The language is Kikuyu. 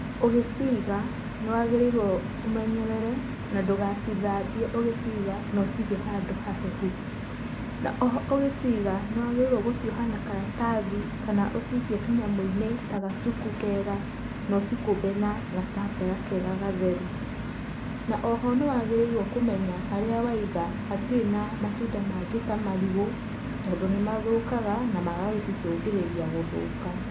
Ũgĩciga nĩ wagĩrĩirwo ũmenyerere na ndũgacithambie ũgĩciga na ũcige handũ hahehu, o na oho ũgĩciga nĩ wagĩrĩirwo gũcioha na karatathi kana ucikie kanyamũ-inĩ ta gacuku kega na ũcikũmbe na gatambaya kega. Na o ho nĩ wagĩrĩirwo nĩ kũmenya harĩa waiga hatirĩ na matunda mangĩ ta marigũ tondũ nĩ mathũkaga na magacicũngĩrĩria gũthũka.